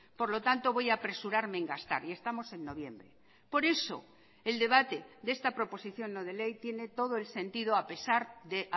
por lo tanto voy apresurarme en gastar y estamos en noviembre por eso el debate de esta proposición no de ley tiene todo el sentido a pesar de